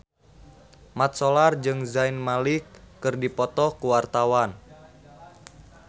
Mat Solar jeung Zayn Malik keur dipoto ku wartawan